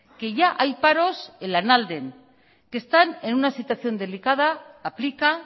que ya hay paros en lanalden que están en una situación delicada aplica